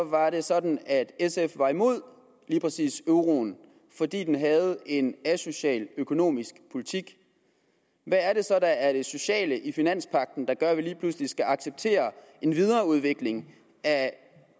var det sådan at sf var imod lige præcis euroen fordi den havde en asocial økonomisk politik hvad er det så der er det sociale i finanspagten der gør at vi lige pludselig skal acceptere en videreudvikling af